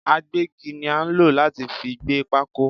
Agbẹ́gi ni a nlo láti fi gbé pákó